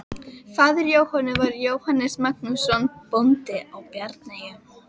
Faðir Jóhönnu var Jóhannes Magnússon, bóndi í Bjarneyjum.